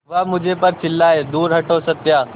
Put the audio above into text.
वह मुझ पर चिल्लाए दूर हटो सत्या